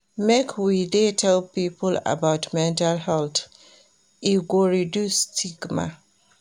Make we dey tell pipo about mental health, e go reduce stigma.